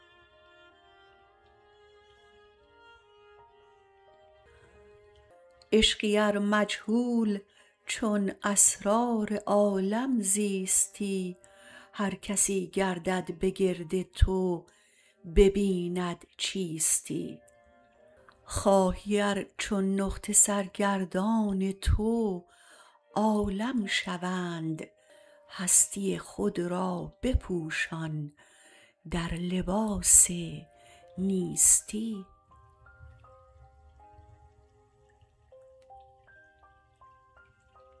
عشقی ار مجهول چون اسرار عالم زیستی هر کسی گردد به گرد تو ببیند چیستی خواهی ار چون نقطه سرگردان تو عالم شوند هستی خود را بپوشان در لباس نیستی